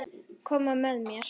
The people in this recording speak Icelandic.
Koma með þér?